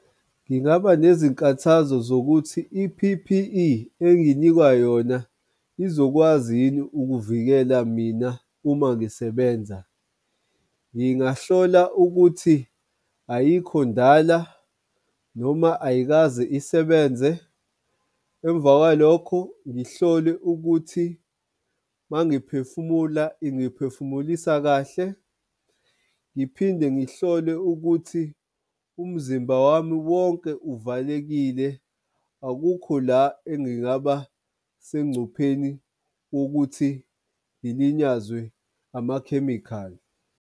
Ngingaba nezinkathazo zokuthi i-P_P_E engisinikwa yona izokwazi yini ukuvikela mina uma ngisebenza. Ngingahlola ukuthi ayikho ndala noma ayikaze isebenze. Emva kwalokho ngihlole ukuthi mangiphefumula ingiphefumulisa kahle. Ngiphinde ngihlole ukuthi umzimba wami wonke uvalelekile. Akukho la engingaba sengcupheni wokuthi ngilinyazwe amakhemikhali.